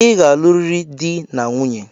I ga-aluriri dị na nwunye!